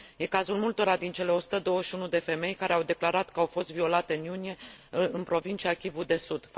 E cazul multora dintre cele 121 de femei care au declarat că au fost violate în iunie în provincia Kivu de Sud.